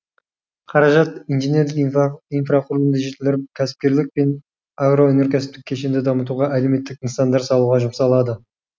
қаражат инженерлік инфрақұрылымды жетілдіріп кәсіпкерлік пен агроөнеркәсіптік кешенді дамытуға әлеуметтік нысандар салуға жұмсалады